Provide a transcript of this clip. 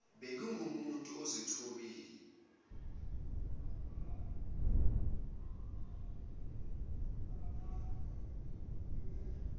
bengingumuntu ononya bengingeke